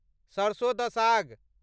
सरसों द साग